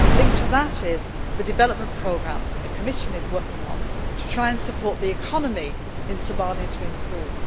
Linked to that is the development programme that the Commission is working on to try and support the economy in Somalia so that it improves.